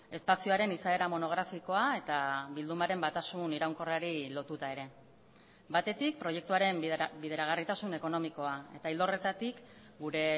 espazioaren izaera monografikoa eta bildumaren batasun iraunkorrari lotuta ere batetik proiektuaren bideragarritasun ekonomikoa eta ildo horretatik gure